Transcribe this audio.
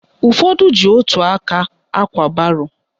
Ụfọdụ ji ótù aka ákwà baro